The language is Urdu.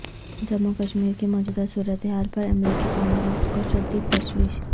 جموں کشمیر کی موجودہ صورتحال پر امریکی کانگریس کو شدید تشویش